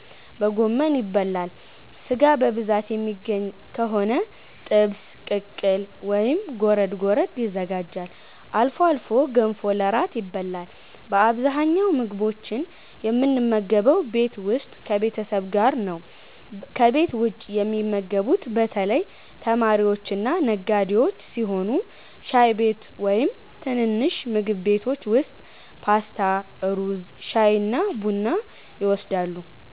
በጎመን) ይበላል። ሥጋ በብዛት የሚገኝ ከሆነ ጥብስ፣ ቅቅል ወይም ጎረድ ጎረድ ይዘጋጃል። አልፎ አልፎ ገንፎ ለእራት ይበላል። በአብዛኛው ምግቦችን የምንመገበው ቤት ውስጥ ከቤተሰብ ጋር ነው። ከቤት ውጭ የሚመገቡት በተለይ ተማሪዎችና ነጋዴዎች ሲሆኑ ሻይ ቤት ወይም ትንንሽ ምግብ ቤቶች ውስጥ ፓስታ፣ ሩዝ፣ ሻይና ቡና ይወስዳሉ።